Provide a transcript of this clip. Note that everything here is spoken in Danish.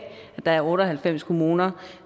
der er otte og halvfems kommuner